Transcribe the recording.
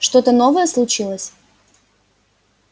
что-то новое случилось